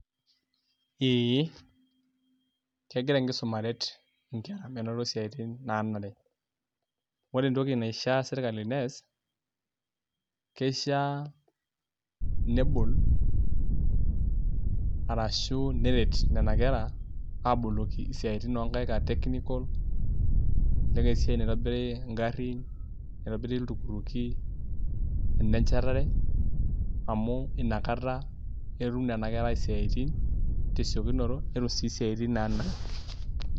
Ee, kegira enkisuma aret inkera menoto isiaitin naanare. Ore entoki naishaa serkali nees, keishaa nebol arashu neret nena kera, aboloki isiaitin onkaik ah technical, elelek esiai naitobiri garrin, naitobiri iltukutuki, enenchatare, amu inakata etum nena kera isiaitin tesiokinoto, netum si siaitin nanare.